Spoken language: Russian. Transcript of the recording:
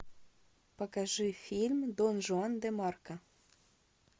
покажи фильм дон жуан де марко